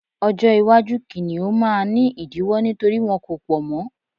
ọjọ iwaju kiniun ma ni idiwọ nítorí wọn ko pọ mọ